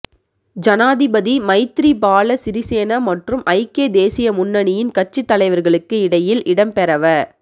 ஜனாதிபதி மைத்திரிபால சிறிசேன மற்றும் ஐக்கிய தேசிய முன்னணியின் கட்சித் தலைவர்களுக்கு இடையில் இடம்பெறவ